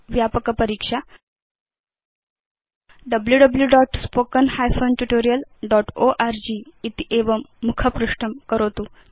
व्यापक परीक्षा wwwspoken tutorialorg इत्येवं मुखपृष्ठं करोतु